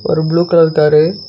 ஒரு blue colour car .